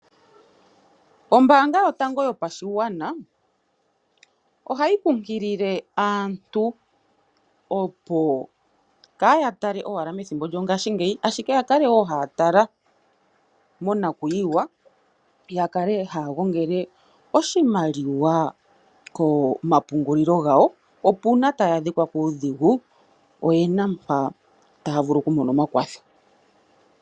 Ombanga yotango yopashigwana ohayi kunkilile aantu opo kaya tale owala methimbo lyopashingeyi ashike yakale woo haya tala monakwiiwa yakale haya gongele oshimaliwa komapungulilo gawo opo uuna taya adhikwa kuudhigu oyena mpa taya vulu okumona omakwatho.